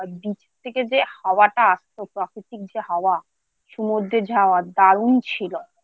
এই বীজ থেকে যে হাওয়াটা আসত প্রাকৃতিক যে হওয়া সমুদ্রে যাওয়া দারুণ ছিল।